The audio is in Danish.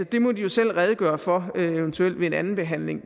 det må de jo selv redegøre for eventuelt ved andenbehandlingen